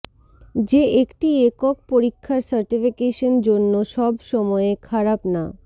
যে একটি একক পরীক্ষার সার্টিফিকেশন জন্য সব সময়ে খারাপ না